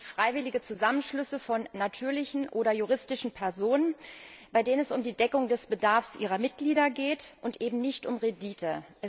Das sind freiwillige Zusammenschlüsse von natürlichen oder juristischen Personen, bei denen es um die Deckung des Bedarfs ihrer Mitglieder geht, und eben nicht um Rendite.